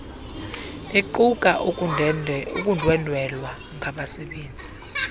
iquka ukundwendwela ngabasebenzi